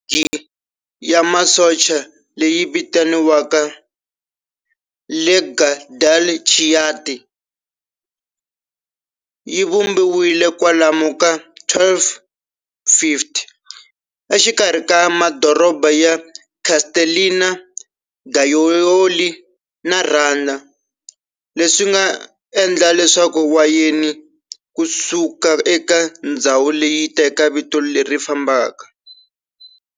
Ligi ya masocha leyi vitaniwaka"Lega del Chianti" yivumbiwile kwalomu ka 1250 exikarhi ka madoroba ya Castellina, Gaiole na Radda, leswinga endla leswaku wayeni kusuka eka ndzhawu leyi yiteka vito leri fanaka.